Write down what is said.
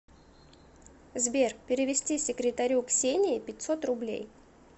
сбер перевести секретарю ксении пятьсот рублей